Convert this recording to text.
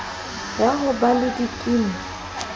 ya ho ba le dikimi